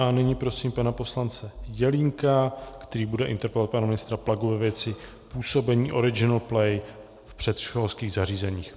A nyní prosím pana poslance Jelínka, který bude interpelovat pana ministra Plagu ve věci působení Original Play v předškolských zařízeních.